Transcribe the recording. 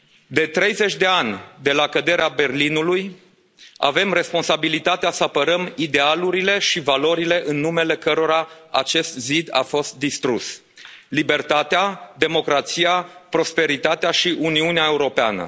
De treizeci de ani de la căderea Berlinului avem responsabilitatea să apărăm idealurile și valorile în numele cărora acest zid a fost distrus libertatea, democrația, prosperitatea și Uniunea Europeană.